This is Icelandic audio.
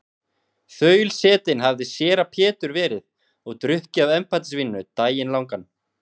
Þaulsetinn hafði séra Pétur verið og drukkið af embættisvíninu daginn langan.